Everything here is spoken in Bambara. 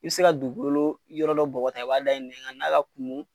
I bɛ se ka dugukolo yɔrɔ dɔ bɔgɔti, a b'a da i nɛ kan n'a ma kumun